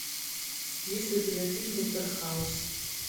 есть ли у тебя фильм доктор хаус